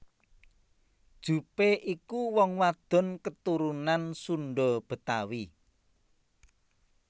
Jupe iku wong wadon keturunan Sunda Betawi